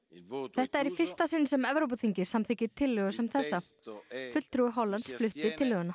þetta er í fyrsta sinn sem Evrópuþingið samþykkir tillögu sem þessa fulltrúi Hollands flutti tillöguna